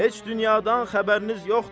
Heç dünyadan xəbəriniz yoxdur.